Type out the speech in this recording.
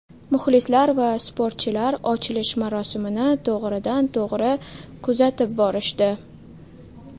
Muxlislar va sportchilar ochilish marosimini to‘g‘ridan to‘g‘ri kuzatib borishdi.